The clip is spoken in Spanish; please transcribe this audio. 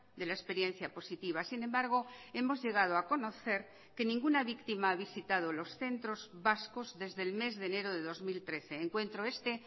de la experiencia positiva sin embargo hemos llegado a conocer que ninguna víctima ha visitado los centros vascos desde el mes de enero de dos mil trece encuentro este